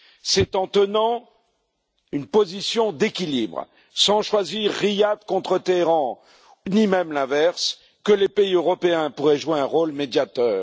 C'est en tenant une position d'équilibre, sans choisir Riyad contre Téhéran ni même l'inverse, que les pays européens pourraient jouer un rôle de médiateur.